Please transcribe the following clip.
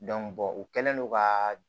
u kɛlen don ka